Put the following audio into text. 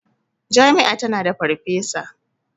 Jami'a tana da farfesa.